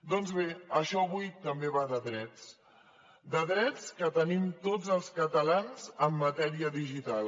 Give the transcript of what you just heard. doncs bé això avui també va de drets de drets que tenim tots els catalans en matèria digital